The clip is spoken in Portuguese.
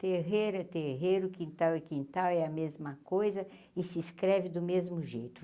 Terreiro, é terreiro, quintal é quintal é a mesma coisa e se escreve do mesmo jeito.